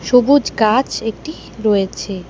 ছোবুজ গাছ একটি রয়েছে।